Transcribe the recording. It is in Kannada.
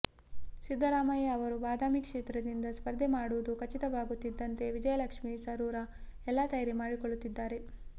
ಸಿದ್ದರಾಮಯ್ಯ ಅವರು ಬಾದಾಮಿ ಕ್ಷೇತ್ರದಿಂದ ಸ್ಪರ್ಧೆ ಮಾಡುವುದು ಖಚಿತವಾಗುತ್ತಿದ್ದಂತೆ ವಿಜಯಲಕ್ಷ್ಮಿ ಸರೂರ ಎಲ್ಲ ತಯಾರಿ ಮಾಡಿಕೊಳ್ಳುತ್ತಿದ್ದಾರೆ